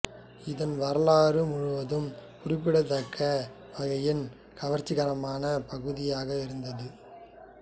இதன் வரலாறு முழுவதும் குறிப்பிடத்தக்க வகையில் கவர்ச்சிகரமான பகுதியாக இருந்துள்ளது